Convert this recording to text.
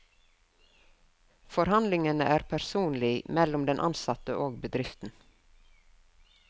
Forhandlingene er personlig mellom den ansatte og bedriften.